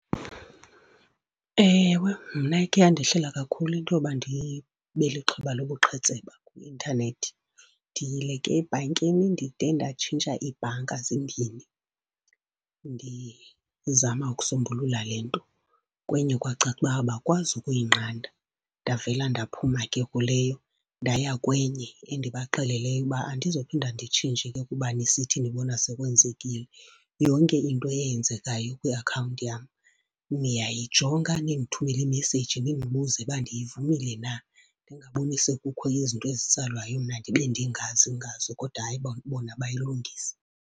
Ewe, mna ikhe yandehlela kakhulu into yoba ndibe lixhoba lobuqhetseba kwi-intanethi. Ndiyile ke ebhankini, ndide ndatshintsha ibhanka zimbini ndizama ukusombulula le nto. Kwenye kwakaca uba abakwazi ukuyinqanda. Ndavela ndaphuma ke kuleyo ndaya kwenye endibaxeleleyo uba, andizophinda nditshintshe ke kuba nisithi nibona sekwenzekile. Yonke into eyenzekayo kwiakhawunti yam niyayijonga nindithumele imeseyiji nindibuze uba ndiyivumile na, ndingaboni sekukho izinto ezitsalwayo mna ndibe ndingazi ngazo. Kodwa hayi, bona bayilungisa.